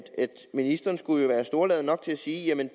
ministeren skulle være storladen nok til at sige at